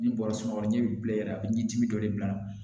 Ni bɔra sunɔgɔ ni bilenya i ɲɛ dimi dɔ de bila